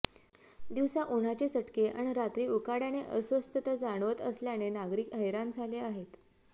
दिवसा उन्हाचे चटके अन् रात्री उकाड्याने अस्वस्थता जाणवत असल्याने नागरिक हैराण झाले आहेत